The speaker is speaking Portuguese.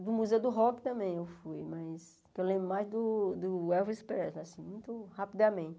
Do Museu do Rock também eu fui, mas o que eu lembro mais do do Elvis Presley, assim, muito rapidamente.